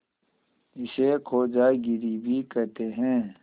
इसे खोजागिरी भी कहते हैं